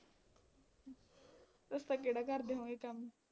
ਤੁਸੀਂ ਤਾਂ ਕਿਹੜਾ ਕਰਦੇ ਹੋਵੋਂਗੇ ਕੰਮ